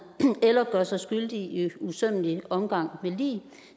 eller gør sig skyldig i usømmelig omgang med lig